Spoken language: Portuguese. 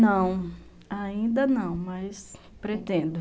Não, ainda não, mas pretendo.